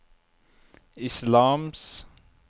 islams